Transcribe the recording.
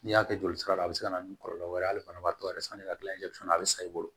N'i y'a kɛ joli sira la a be se ka na ni kɔlɔlɔ wɛrɛ ye ale fana b'a to yɛrɛ sanni ka gilan joli fana a bɛ sa i bolo